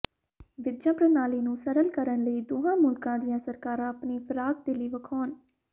visa ਪ੍ਰਣਾਲੀ ਨੂੰ ਸਰਲ ਕਰਨ ਲਈ ਦੋਹਾਂ ਮੁਲਕਾਂ ਦੀਆਂ ਸਰਕਾਰਾਂ ਆਪਣੀ ਫ਼ਰਾਖਦਿਲੀ ਵਿਖਾਉਣ